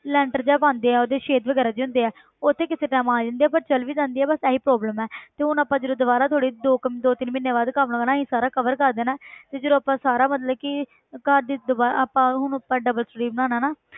ਲੈਂਟਰ ਜਿਹਾ ਪਾਉਂਦੇ ਆ ਉਹਦੇ ਛੇਦ ਵਗ਼ੈਰਾ ਜਿਹੇ ਹੁੰਦੇ ਆ ਉੱਥੇ ਕਿਸੇ time ਆ ਜਾਂਦੇ ਆ ਪਰ ਚਲੇ ਵੀ ਜਾਂਦੇ ਆ ਬਸ ਇਹੀ problem ਹੈ ਤੇ ਹੁਣ ਆਪਾਂ ਜਦੋਂ ਦੁਬਾਰਾ ਥੋੜ੍ਹੀ ਦੋ ਕੰਮ ਦੋ ਤਿੰਨ ਮਹੀਨਿਆਂ ਬਾਅਦ ਕੰਮ ਹੋਣਾ ਅਸੀਂ ਸਾਰਾ cover ਕਰ ਦੇਣਾ ਹੈ ਤੇ ਜਦੋਂ ਆਪਾਂ ਸਾਰਾ ਮਤਲਬ ਕਿ ਘਰ ਦੀ ਦੁਬਾ~ ਆਪਾਂ ਹੁਣ ਆਪਾਂ double ਬਣਾਉਣਾ ਨਾ